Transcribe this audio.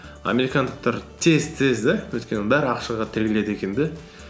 американдықтар тез тез де өйткені бәрі ақшаға тіреледі екен де